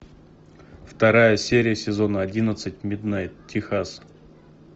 вторая серия сезона одиннадцать миднайт техас